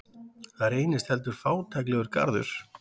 Það reynist heldur fátæklegur garður.